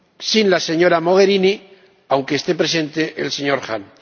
sin la señora Mogherini, aunque esté presente el señor Hahn.